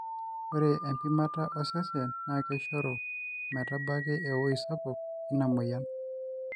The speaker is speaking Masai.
ore empimata osesen na keishoru metabaki ewoi sapuk ina moyian